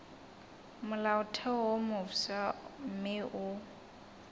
molaotheo wo mofsa mme o